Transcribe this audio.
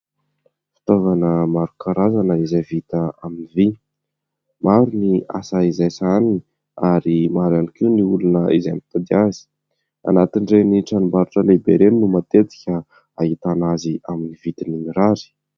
Fitaovana maro karazana izay vita amin'ny vy, maro ny asa izay sahaniny ary maro ihany koa ny olona izay mitady azy. Anatin'indreny ny tranom-barotra lehibe ireny no matetika ahitana azy amin'ny vidiny mirary.